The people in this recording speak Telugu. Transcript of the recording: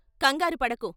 ' కంగారు పడకు.